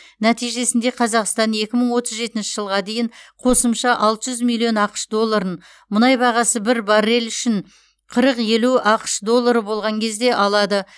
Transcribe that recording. нәтижесінде қазақстан екі мың отыз жетінші жылға дейін қосымша алты жүз миллион ақш долларын мұнай бағасы бір баррель үшін қырық елу ақш доллары болған кезде алады